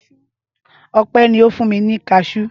Ọpẹ́ ni ó fún mi ní kaṣú.